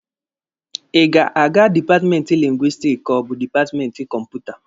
Ị ga-aga dipatmenti Lingwisitiki ka ọ bụ dipatmenti Kọmputa?